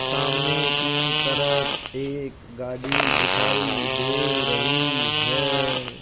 सामने की तरफ एक गाड़ी दिखाई दे रही है।